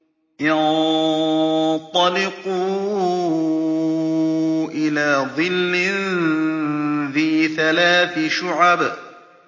انطَلِقُوا إِلَىٰ ظِلٍّ ذِي ثَلَاثِ شُعَبٍ